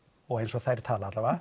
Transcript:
og eins og þær tala